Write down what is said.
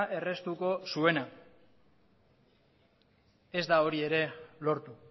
erraztuko zuena ez da hori ere lortu